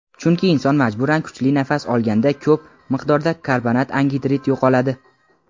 Chunki inson majburan kuchli nafas olganda ko‘p miqdorda karbonat angidrid yo‘qoladi.